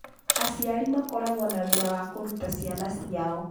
Aciari makoragwo na wĩra wa kũruta ciana ciao .